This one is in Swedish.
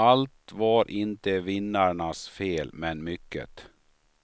Allt var inte vinnarnas fel, men mycket.